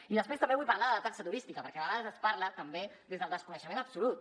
i després també vull parlar de la taxa turística perquè de vegades es parla també des del desconeixement absolut